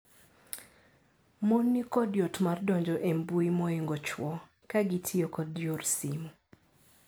Mon nikod yot mar donjo e mbui moingo chwo. Kagitio kod yor simo.